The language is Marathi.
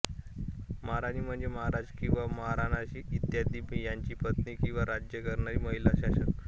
महारानी म्हणजे महाराज किंवा महाराणा इत्यादि यांच्या पत्नी किंवा राज्य करणारी महिला शासक